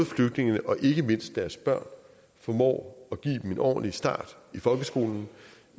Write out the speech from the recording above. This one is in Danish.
flygtningene og ikke mindst deres børn formår at give dem en ordentlig start i folkeskolen